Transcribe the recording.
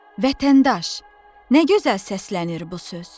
Vətəndaş, nə gözəl səslənir bu söz!